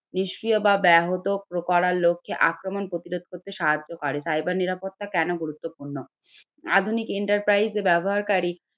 নিষ্ক্রিয় বা ব্যাহত করার লোক কে আক্রমণ প্রতিরোধ করতে সাহায্য করে। Cyber নিরাপত্তা কেনো গুরুত্বপূর্ণ? আধুনিক enterprise ব্যবহারকারী